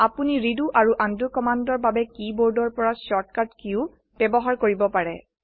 আপোনি ৰেডো আৰু উণ্ড কম্মান্দৰ বাবে কী বোৰ্ডৰ পৰা শৰ্ট কাট কীও ব্যবহাৰ কৰিব পাৰো